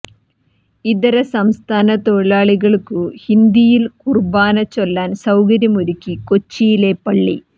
ഇതര സംസ്ഥാന തൊഴിലാളികൾക്കു ഹിന്ദിയിൽ കുർബാന ചൊല്ലാൻ സൌകര്യം ഒരുക്കി കൊച്ചിയിലെ പള്ളി